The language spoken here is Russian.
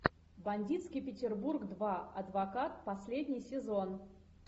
бандитский петербург два адвокат последний сезон